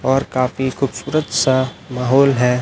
और काफी खूबसूरत सा माहौल है।